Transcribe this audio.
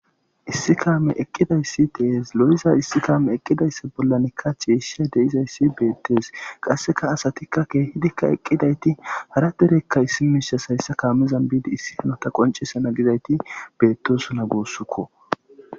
Issi kaame eqqidayssi dees lo'iza issi kaame eqqidayssa bollanikka chiishsha deizayssi beettees qasseka asatikka keehidikka eqqidayti hara derekka issimishas hayssa kaamizan biidi issi hanota qoncesa na gizayti beettosuna goossukko.